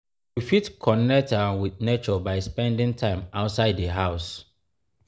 we fit connect um with nature by spending time outside di house